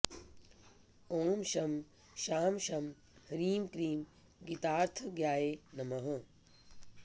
ॐ शं शां षं ह्रीं क्लीं गीतार्थज्ञाय नमः